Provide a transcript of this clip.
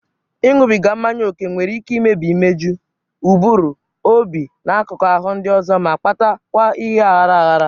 Ịṅụbiga mmanya ókè nwere ike imebi imeju, ụbụrụ, obi, na akụkụ ahụ ndị ọzọ, ma-kpata kwa ime aghara aghara